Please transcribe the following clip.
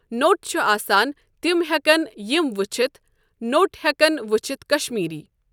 نوٚٹ چھُ آسان تِم ہیٚکن یِم وُچھتھ نوٚٹ ہیِٚکن وُچھتھ کشمیٖری ۔